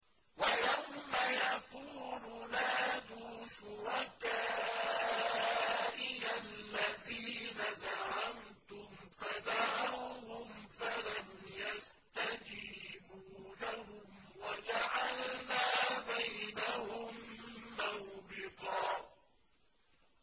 وَيَوْمَ يَقُولُ نَادُوا شُرَكَائِيَ الَّذِينَ زَعَمْتُمْ فَدَعَوْهُمْ فَلَمْ يَسْتَجِيبُوا لَهُمْ وَجَعَلْنَا بَيْنَهُم مَّوْبِقًا